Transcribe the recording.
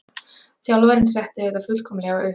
Þjálfarinn setti þetta fullkomlega upp.